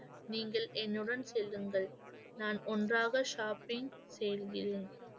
நீங்கள் என்னுடன் செல்லுங்கள் நான் ஒன்றாக shopping செல்கிறேன்